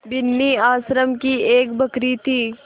बिन्नी आश्रम की एक बकरी थी